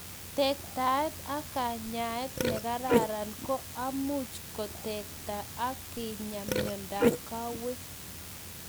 Tektaet ak kanyaet, nekararan ko amu much ketekta ak kenya miondap kawek